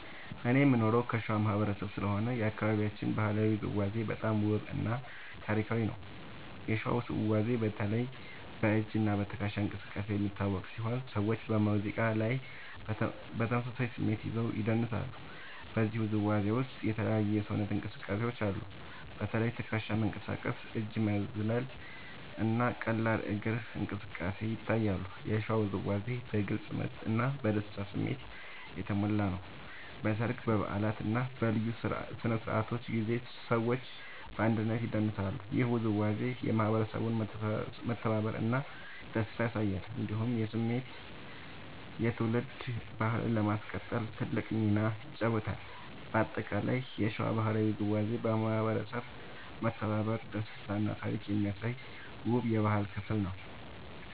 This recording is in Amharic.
እኔ የምኖረው ከሸዋ ማህበረሰብ ስለሆነ የአካባቢያችን ባህላዊ ውዝዋዜ በጣም ውብ እና ታሪካዊ ነው። የሸዋ ውዝዋዜ በተለይ በ“እጅ እና ትከሻ እንቅስቃሴ” የሚታወቅ ሲሆን ሰዎች በሙዚቃ ላይ በተመሳሳይ ስሜት ይዘው ይደንሳሉ። በዚህ ውዝዋዜ ውስጥ የተለያዩ የሰውነት እንቅስቃሴዎች አሉ። በተለይ ትከሻ መንቀሳቀስ፣ እጅ መዝለል እና ቀላል እግር እንቅስቃሴ ይታያሉ። የሸዋ ውዝዋዜ በግልጽ ምት እና በደስታ ስሜት የተሞላ ነው። በሰርግ፣ በበዓላት እና በልዩ ስነ-ስርዓቶች ጊዜ ሰዎች በአንድነት ይደንሳሉ። ይህ ውዝዋዜ የማህበረሰቡን መተባበር እና ደስታ ያሳያል። እንዲሁም የትውልድ ባህልን ለማስቀጠል ትልቅ ሚና ይጫወታል። በአጠቃላይ የሸዋ ባህላዊ ውዝዋዜ የማህበረሰብ መተባበር፣ ደስታ እና ታሪክ የሚያሳይ ውብ የባህል ክፍል ነው።